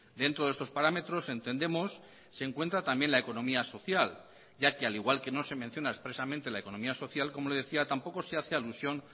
dentro de estos parámetros entendemos se encuentra también la economía social ya que al igual que no se menciona expresamente la economía social como le decía tampoco se hace alusión